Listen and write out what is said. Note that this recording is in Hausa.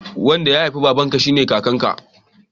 Wanda ya haifi babarka shine kakan ka